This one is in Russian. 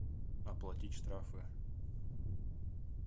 оплатить штрафы